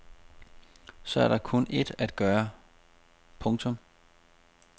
Så er der kun ét at gøre. punktum